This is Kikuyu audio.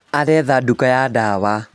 Aretha nduka ya ndawa